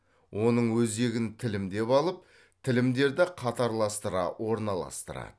оның өзегін тілімдеп алып тілімдерді қатарластыра орналастырады